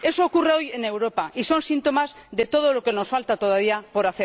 Eso ocurre hoy en Europa y son síntomas de todo lo que nos falta todavía por